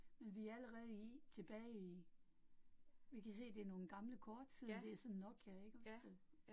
Men vi allerede i tilbage i. Vi kan se det nogle gamle kort siden det sådan en Nokia, ik også det